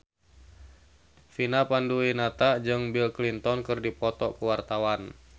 Vina Panduwinata jeung Bill Clinton keur dipoto ku wartawan